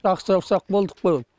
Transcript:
ақсаусақ болдық қой